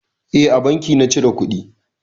Eh a banki na cire kuɗi.